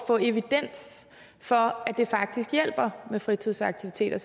få evidens for at det faktisk hjælper med fritidsaktiviteter